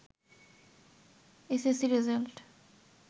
S S C result